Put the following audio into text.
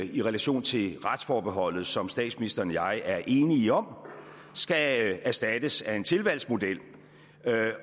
i relation til retsforbeholdet som statsministeren og jeg er enige om skal erstattes af en tilvalgsmodel